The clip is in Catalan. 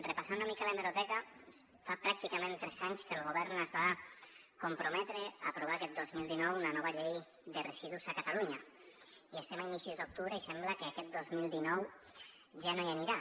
repassant una mica l’hemeroteca fa pràcticament tres anys que el govern es va comprometre a aprovar aquest dos mil dinou una nova llei de residus a catalunya i estem a inicis d’octubre i sembla que aquest dos mil dinou ja no hi anirà